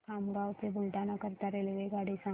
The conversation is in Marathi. मला खामगाव ते बुलढाणा करीता रेल्वेगाडी सांगा